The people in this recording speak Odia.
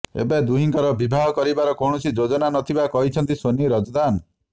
ଏବେ ଦୁହିଁଙ୍କର ବିବାହ କରିବାର କୌଣସି ଯୋଜନା ନଥିବା କହିଛନ୍ତି ସୋନି ରଜଦାନ